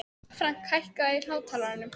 Frank, hækkaðu í hátalaranum.